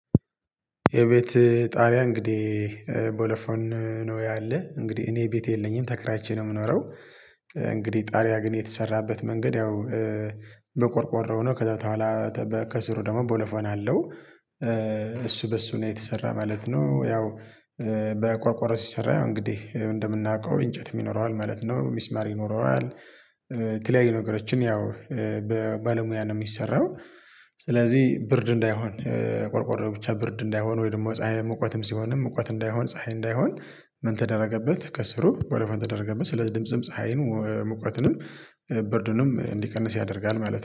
የቤት ጣሪያ እንግዲህ በለፈን ነው ያለህ እንግዲህ እኔ ቤት የለኝም ተከራይቼ ነው ምኖረው እንግዲህ ጣሪያ ግን የተሰራበት መንገድ ያው በቆርቆሮ ነው ከዛ በኋላ ከስሩ ደግሞ ቦሎፎን አለው እሱ በሱ ነው የተሰራ ማለት ነው ያው በቆርቆሮ ሲሰራ ያው እንግዲህ እንደምናውቀው እንጨትም ይኖረዋል ማለት ነው፣ ሚስማር ይኖረዋል፣ የተለያየ ነገሮችን ያው ባለሙያ ነው ሚሰራው ስለዚህ ብርድ እንዳይሆን ቆርቆሮ ብቻ ብርድ እንዳይሆን ወይ ደግሞ ፀሀይን መቀትም ሲሆንም ሙቀት እንዳይሆን ፀሀይ እንዳይሆን ምን ተደረገበት ከስሩ ወረፎን ተደረገበት ስለ ድምጽም፣ ፀሀይን፣ ሙቀትንም፣ ብርድንም እንዲቀንስ ያደርጋል ማለት ነው።